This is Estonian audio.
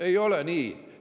Ei ole nii!